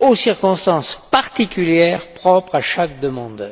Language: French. aux circonstances particulières propres à chaque demandeur.